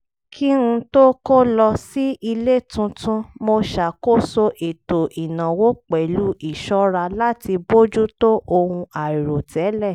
kí n tó kó lọ sí ilé tuntun mo ṣakoso ètò ìnáwó pẹ̀lú ìṣọ́ra láti bójú tó ohun àìròtẹ́lẹ̀